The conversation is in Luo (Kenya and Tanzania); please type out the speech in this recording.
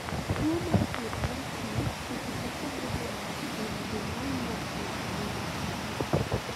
tuo mar kuot mar chuny seche moko bedo ga kuom joma wuok e anyuola achiel